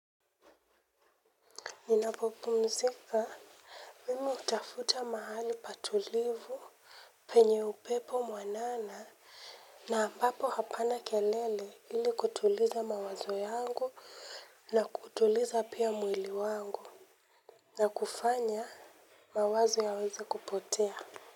Ninapopumzika, mimi hutafuta mahali patulivu penye upepo mwanana na ambapo hapana kelele ili kutuliza mawazo yangu na kutuliza pia mwili wangu na kufanya mawazo yaweze kupotea.